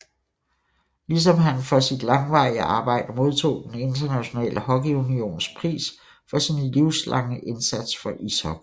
Ligesom han for sit langvarige arbejde modtog Den Internationale Hockeyunions pris for sin livslange indsats for ishockey